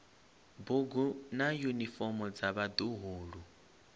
bugu na yunifomo dza vhaḓuhulu